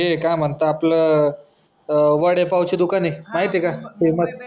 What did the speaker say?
ते काय म्हणता आपलं वडे पावचं दुकान आहे माहिती आहे का? ते मग